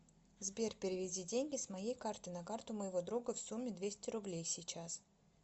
сбер переведи деньги с моей карты на карту моего друга в сумме двести рублей сейчас